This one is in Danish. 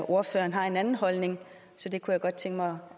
ordføreren har en anden holdning så det kunne jeg godt tænke mig